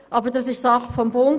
Aber das ist Sache des Bundes.